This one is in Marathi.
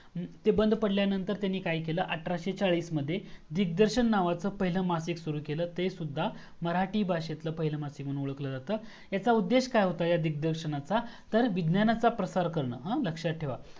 ते बंद पडल्यानंतर त्यांनी काय केलं अठराशे चाळीस मध्ये दिग्दर्शन नावाचा पहिलं माशिक सुरू केलं ते सुद्धा मराठी भाषेतल पहिलं माशिक म्हणून ओळखलं जातं ह्याचा उद्देश काय होतं ह्या दिग्दर्शनाचा तर विज्ञानाचा प्रसार करने लक्षात ठेवा